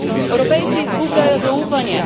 Evropejci izgubljajo zaupanje.